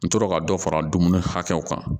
N tora ka dɔ fara dumuni hakɛw kan